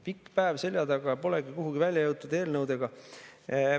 Pikk päev seljataga, aga pole kuhugi välja jõutud eelnõudega.